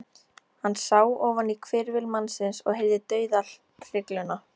Hann sá ofan á hvirfil mannsins og heyrði dauðahrygluna.